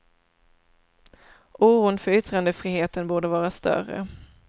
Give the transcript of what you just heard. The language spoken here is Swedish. Oron för yttrandefriheten borde vara större.